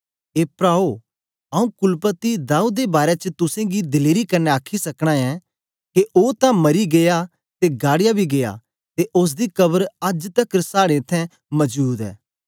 ए प्राओ आंऊँ कुलपति दाऊद दे बारै च तुसेंगी दलेरी कन्ने आखी सकना ऐं के ओ तां मरी गीया ते गाड़या बी गीया ते ओसदी कब्र अज्ज तकर साड़े इत्थैं मजूद ऐ